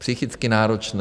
Psychicky náročné.